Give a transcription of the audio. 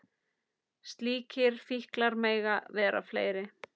Slíkir fíklar mega vera fleiri.